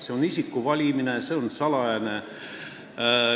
See on isiku valimine, mis on salajane.